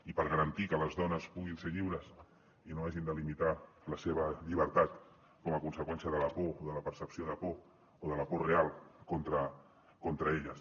i per garantir que les dones puguin ser lliures i no hagin de limitar la seva llibertat com a conseqüència de la por o de la percepció de por o de la por real contra elles